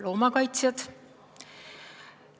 Loomakaitsjad!